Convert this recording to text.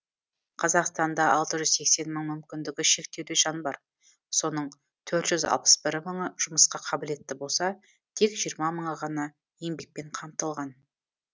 қазақстанда алты жүз сексен мың мүмкіндігі шектеулі жан бар соның төрт жүз алпыс бір мыңы жұмысқа қабілетті болса тек жиырма мыңы ғана еңбекпен қамтылған